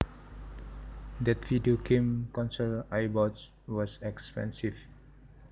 That video game console I bought was expensive